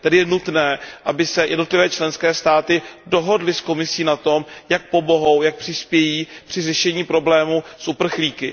Tedy je nutné, aby se jednotlivé členské státy dohodly s Komisí na tom, jak pomohou, jak přispějí při řešení problémů s uprchlíky.